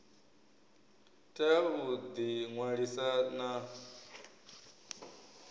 tea u ḓi ṅwalisa na